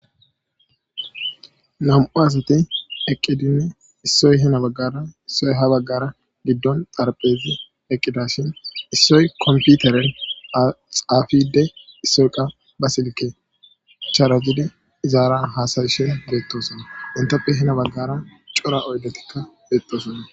Nam'u asati eqqidinne issoy hina baggara issoy ha baggara giddon xarphezi eqqida shin issoy komputeren axaafide issoyqa ba silike chaarajidi izaaran haasayishin beettosona inteppe hina baggara cora oydetikka beettosona.